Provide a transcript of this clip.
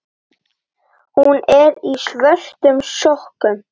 Hún er í svörtum sokkum.